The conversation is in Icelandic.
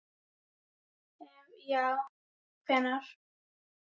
ef já hvenær??